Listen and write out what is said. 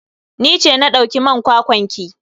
Ni ce na dauki man kwakwan ki.